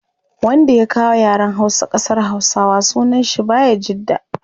Wanda ya kawo yaren hausa kasar hausawa sunan shi bayajidda